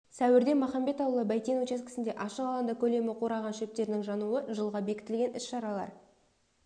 сәуірде махамбет ауылы бәйтен учаскесінде ашық алаңда көлемі қураған шөптердің жануы жылға бекітілген іс-шаралар